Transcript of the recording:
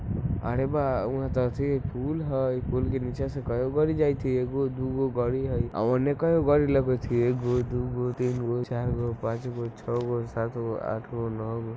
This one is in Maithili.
अरे बा वहा ते अथि पूल है ई पूल के नीचे से कई गो गाड़ जायत हई एगो दूगो गाड़ी है औने कै गो गाड़ी लागत हई एगो दू गोतीन गो चार गो पांच गो छे गो सात गो आठ गो नौ गो।